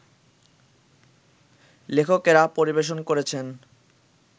লেখকেরা পরিবেশন করেছেন